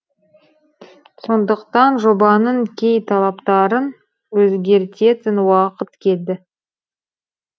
сондықтан жобаның кей талаптарын өзгертетін уақыт келді